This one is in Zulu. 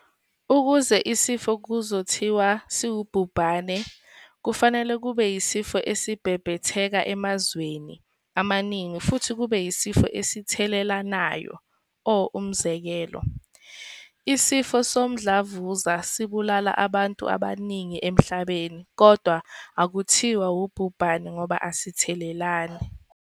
Ukuze isifo kuzothiwa siwubhubhane, kufanele kube isifo esibhebhetheke emazweni amaningi futhi kube isifo esithelelanayo - Umzekelo, isifo somdlavuza sibulala abantu abaningi emhlabeni kodwa akuthiwa ubhubhane ngoba asithelelani.